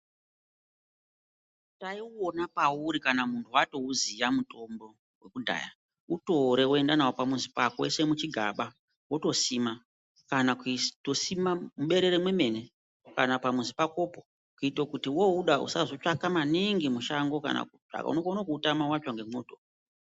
Taiwona pauri kana munhu watouziva mutombo wekudhaya utore woenda nawo pamuzi pako woisa muchigaba wotosima kana kutosima muberere memwene pamuzi pakopo kuitira kuti wauda usautsvaka maningi mushango unogona kuutama watsva nemoto .